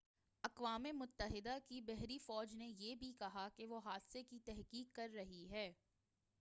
اقوام متحدہ کی بحری فوج نے یہ بھی کہا کہ وہ حادثے کی تحقیق کر رہی ہے